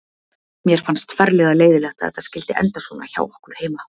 Mér fannst ferlega leiðinlegt að þetta skyldi enda svona hjá okkur heima.